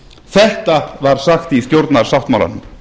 þetta var sagt í stjórnarsáttmálanum